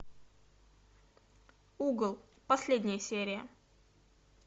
угол последняя серия